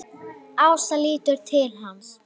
Ása lítur til hans.